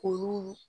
Olu